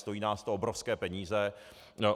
Stojí nás to obrovské peníze.